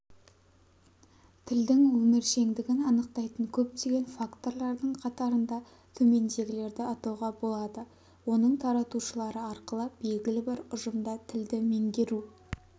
тілдің өміршеңдігін анықтайтын көптеген факторлардың қатарында төмендегілерді атауға болады оның таратушылары арқылы белгілі бір ұжымда тілді меңгеру